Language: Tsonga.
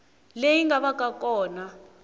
leyi nga va ka kona